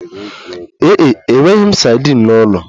Ee e, enweghị m sadin n'ụlọ